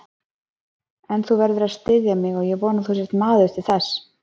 En þú verður að styðja mig og ég vona að þú sért maður til þess.